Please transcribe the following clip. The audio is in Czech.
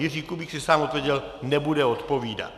Jiří Kubík si sám odpověděl: Nebude odpovídat.